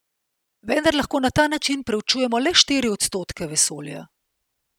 Vendar lahko na ta način preučujemo le štiri odstotke vesolja.